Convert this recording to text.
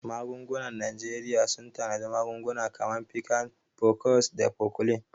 Magungunan Najeriya sun tanadi magunguna kamar Piccan, Cofex, da Cofflin.